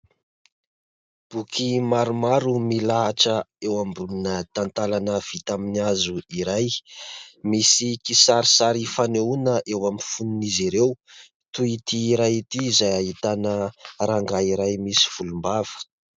Boky maromaro milahatra eo ambonina tantalana vita aminy hazo iray, misy kisarisary fanehoana eo amin'ny fonon'izy ireo toy ity iray ity izay ahitana rangaha iray misy volombava.